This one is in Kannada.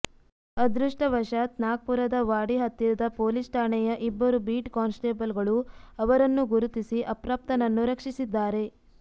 ಅದೃಷ್ಟವಶಾತ್ ನಾಗ್ಪುರದ ವಾಡಿ ಹತ್ತಿರದ ಪೊಲೀಸ್ ಠಾಣೆಯ ಇಬ್ಬರು ಬೀಟ್ ಕಾನ್ಸ್ಟೆಬಲ್ಗಳು ಅವರನ್ನು ಗುರುತಿಸಿ ಅಪ್ರಾಪ್ತನನ್ನು ರಕ್ಷಿಸಿದ್ದಾರೆ